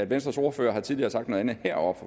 venstres ordfører har tidligere sagt noget andet heroppe